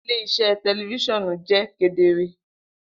Ile-iṣẹ tẹlifisiọnu jẹ kedere.